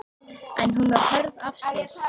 En hún var hörð af sér.